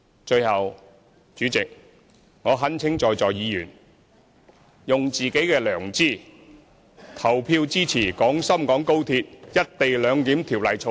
最後，主席，我懇請在座議員，用自己的良知投票支持《廣深港高鐵條例草案》。